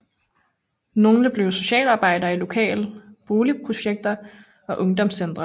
Nogle blev socialarbejdere i lokale boligprojekter og ungdomscentre